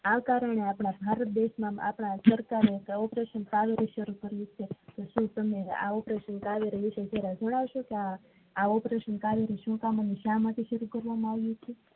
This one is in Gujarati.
આ કારણે આપડા ભારત દેશના આપડા સરકારે એક operation કાર્ય શરુ કર્યું છે તો તમે આ operation કાર્ય વિશે જણાવશો કે આ operation કાર્ય શું કામ આને શા માટે કરવામાં આવ્યું છે